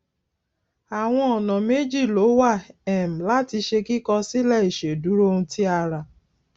àwọn ọnà méjì ló wà um láti ṣe kíkọ sílè ìṣèdúró ohun tí a ra